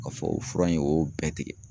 Ka fɔ o fura in, o y'o bɛɛ tigɛ.